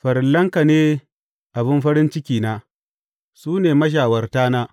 Farillanka ne abin farin cikina; su ne mashawartana.